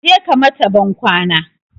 Kaje ka mata ban kwana